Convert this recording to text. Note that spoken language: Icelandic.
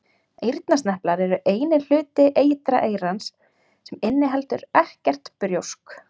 Eyrnasneplar eru eini hluti ytra eyrans sem inniheldur ekkert brjósk.